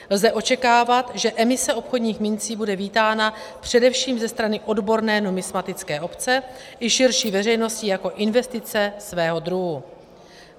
Lze očekávat, že emise obchodních mincí bude vítána především ze strany odborné numismatické obce i širší veřejnosti jako investice svého druhu.